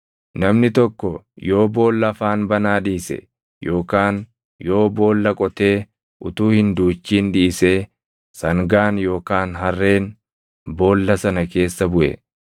“Namni tokko yoo boolla afaan banaa dhiise yookaan yoo boolla qotee utuu hin duuchin dhiisee sangaan yookaan harreen boolla sana keessa buʼe,